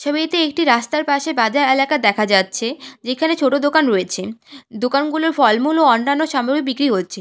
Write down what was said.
ছবিতে রাস্তার পাশে একটি বাজার এলাকা দেখা যাচ্ছে যেখানে ছোট দোকান রয়েছে দোকানগুলোর ফলমূল ও অন্যান্য সামগ্রী বিক্রি হচ্ছে।